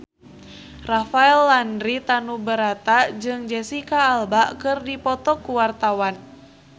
Rafael Landry Tanubrata jeung Jesicca Alba keur dipoto ku wartawan